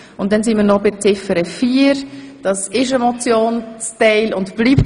Nun kommen wir noch zu Ziffer 4, die ein Motionsteil ist und bleibt.